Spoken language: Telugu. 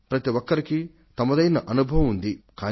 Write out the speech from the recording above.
ప్రతివారికి వారిదైన అనుభవం ఉంది